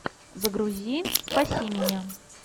загрузи спаси меня